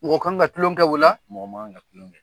Mɔgɔ kan ka tulon kɛ o la? Mɔgɔ man kan tulon kɛ.